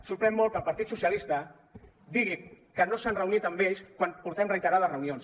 sorprèn molt que el partit socialistes digui que no s’han reunit amb ells quan portem reiterades reunions